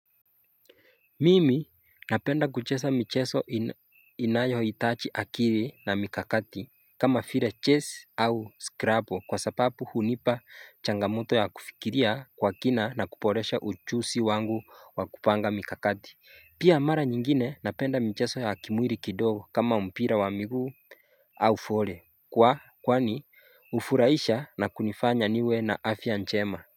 Mimi napenda kuchesa micheso inayohitachi akiri na mikakati kama file ches au skrabo kwa sapapu hunipa changamoto ya kufikiria kwa kina na kuporesha uchusi wangu wa kupanga mikakati Pia amara nyingine napenda micheso ya akimwiri kidogo kama umpira wa miguu au fole Kwa kwani ufuraisha na kunifanya niwe na afya nchema.